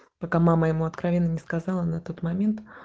пока мама ему откровенно не сказала на тот момент